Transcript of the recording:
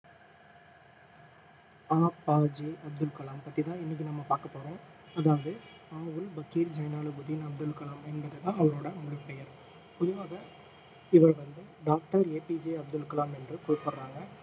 ஆ P J Abdul Kalam பத்தி தான் இன்னைக்கு நம்ம பாக்க போறோம் அதாவது ஆவுல் பக்கிர் ஜைனுலாபுதீன் அப்துல் கலாம் என்கிறது தான் அவருடைய முழு பெயர் பொதுவாக இவர் வந்து டாக்டர் APJ அப்துல் கலாம் என்றும் கூப்பிடுறாங்க